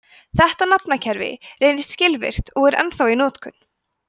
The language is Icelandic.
þetta nafnakerfi reyndist skilvirkt og er ennþá í notkun